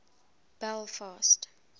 belfast